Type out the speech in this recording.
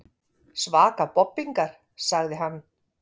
Svaka bobbingar, sagði hann.